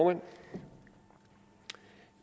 det